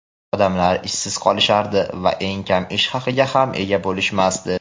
odamlar ishsiz qolishardi va eng kam ish haqiga ham ega bo‘lishmasdi.